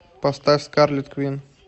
поставь скарлет квин